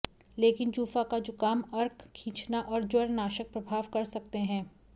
लेकिन जूफा का जुकाम अर्क खींचना और ज्वरनाशक प्रभाव कर सकते हैं